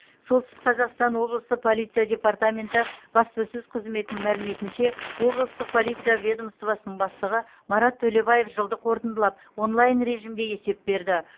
солтүстік қазақстан облысы полиция департаменті баспасөз қызметінің мәліметінше облыстық полиция ведомствосының бастығы марат төлебаев жылды қорытындылап онлайн режимде есеп берді